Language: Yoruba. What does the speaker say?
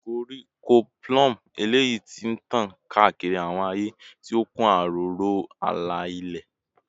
Koriko plume eleyi ti tan kaakiri awọn aaye, ti o kun aro aro ala-ilẹ